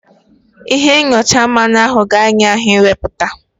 Ịhe nyọcha mmanụ ahụ ka ahịa ahụ ị wepụta.